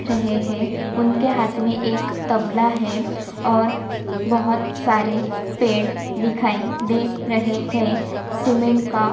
दिख रहे है उनके हाथ में एक तबला है और बहुत सारे पेड़ दिखाई दे रहे है सीमेंट का --